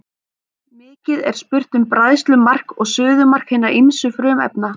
Mikið er spurt um bræðslumark og suðumark hinna ýmsu frumefna.